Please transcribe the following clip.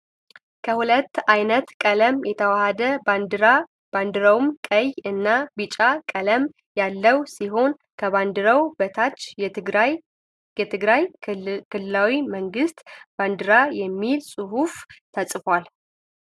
ከሁለት አይነት ቀለም የተዋሃደ ባንዲራ፤ ባንዲራው ቀይ እና ቢጫ ቀለም ያለው ሲሆን ከባንዲራው በታችም "የትግራይ ክልላዊ መንግስት ባንዲራ" የሚል ጽሁፍ ተጽፍፏል።